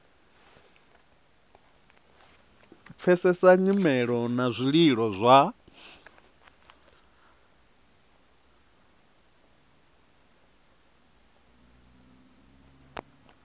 pfesesa nyimelo na zwililo zwa